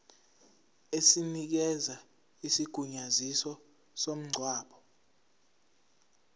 esinikeza isigunyaziso somngcwabo